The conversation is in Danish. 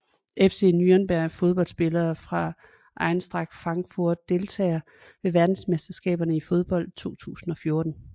FC Nürnberg Fodboldspillere fra Eintracht Frankfurt Deltagere ved verdensmesterskabet i fodbold 2014